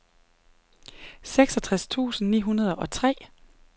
seksogtres tusind ni hundrede og tre